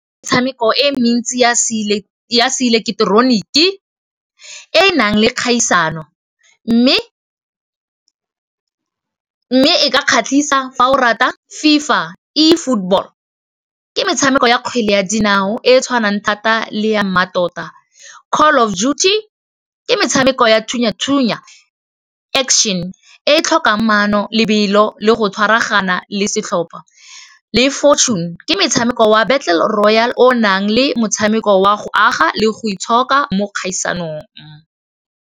Metshameko e mentsi ya se ileketeroniki e nang le kgaisano, mme e ka kgatlhisa fa o rata FIFA E football, ke metshameko ya kgwele ya dinao e tshwanang thata le ya mmatota Call of Juty ke metshameko ya thunya-thunya Action e tlhokang mano lebelo le go tshwaragana le setlhopha le Fortune ke metshameko wa Battle Royal o nang le motshameko wa go aga le go itshoka mo dikgaisanong.